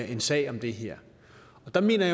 en sag om det her og der mener